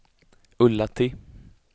Ullatti